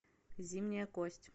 зимняя кость